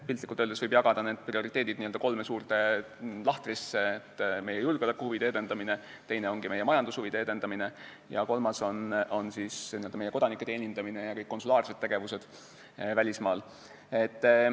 Piltlikult öeldes võib need prioriteedid jagada kolme suurde gruppi: meie julgeolekuhuvide edendamine, meie majandushuvide edendamine ning meie kodanike teenindamine ja kõik konsulaarsed tegevused välismaal.